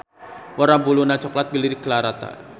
Warna Buluna coklat blirik rata.